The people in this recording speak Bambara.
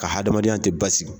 Ka hadamadenya tɛ ba sigi.